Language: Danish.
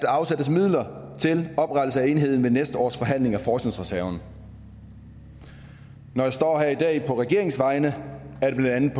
afsættes midler til oprettelse af enheden ved næste års forhandling af forskningsreserven når jeg står her i dag på regeringens vegne er det blandt